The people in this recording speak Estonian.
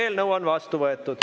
Eelnõu on vastu võetud.